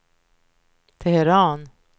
Teheran